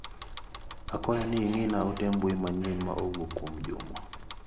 Akwayo ing'ina ote mbui manyien ma owuok kuom Juma.